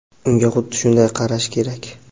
Unga xuddi shunday qarash kerak.